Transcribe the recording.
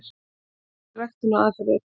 Helstu ræktunaraðferðir: